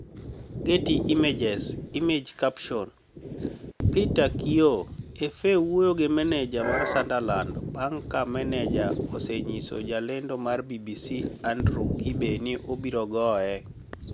Getty Images Image captioni Peter Kioi FA wuoyo gi mani eja mar Sunidarlanid banig' ka mani eja oseniyiso jalenido mar BBC Anidrew kibe nii obiro goye